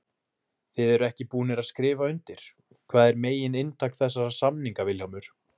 Þið eruð ekki búnir að skrifa undir, hvað er megin inntak þessara samninga Vilhjálmur?